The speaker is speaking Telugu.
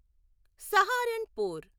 సహారన్పూర్